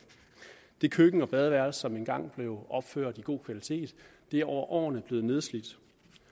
det køkken og badeværelse som engang blev opført i god kvalitet er over årene blevet nedslidt